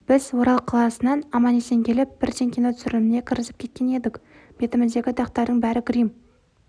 біз орал қаласынан аман-есен келіп бірден киноның түсіріліміне кірісіп кеткен едік бетіміздегі дақтардың бәрі грим